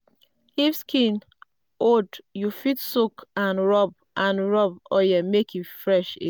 if skin old you fit soak and rub and rub oil make e fresh again.